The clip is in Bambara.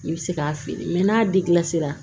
I bɛ se k'a feere n'a